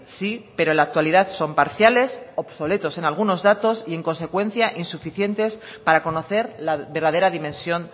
sí pero en la actualidad son parciales obsoletos en algunos datos y en consecuencia insuficientes para conocer la verdadera dimensión